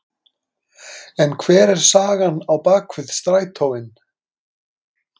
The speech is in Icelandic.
En hver er sagan á bak við strætóinn?